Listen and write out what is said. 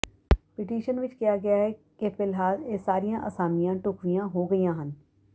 petition ਵਿਚ ਕਿਹਾ ਗਿਆ ਹੈ ਕਿ ਫਿਲਹਾਲ ਇਹ ਸਾਰੀਆਂ ਅਸਾਮੀਆਂ ਢੁੱਕਵੀਆਂ ਹੋ ਗਈਆਂ ਹਨ